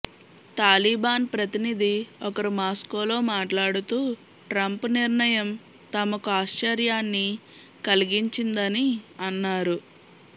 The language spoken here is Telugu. తాలిబాన్ ప్రతినిధి ఒకరు మాస్కోలో మాట్లాడుతూ ట్రంప్ నిర్ణయం తమకు ఆశ్చర్యాన్ని కలిగించిందని అన్నారు